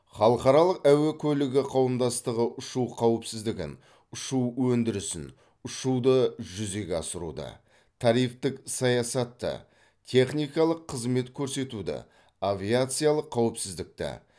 халықаралық әуе көлігі қауымдастығы ұшу қауіпсіздігін ұшу өндірісін ұшуды жүзеге асыруды тарифтік саясатты техникалық қызмет көрсетуді авиациялық қауіпсіздікті